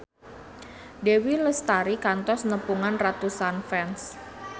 Dewi Lestari kantos nepungan ratusan fans